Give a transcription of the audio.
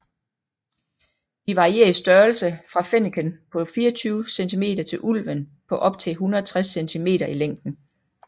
De varierer i størrelse fra fenneken på 24 cm til ulven på op til 160 cm i længden